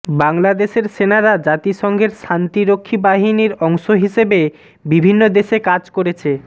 বাংলাদেশের সেনারা জাতিসংঘের শান্তিরক্ষী বাহিনীর অংশ হিসেবে বিভিন্ন দেশে কাজ করেছে